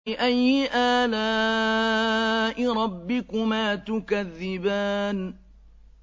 فَبِأَيِّ آلَاءِ رَبِّكُمَا تُكَذِّبَانِ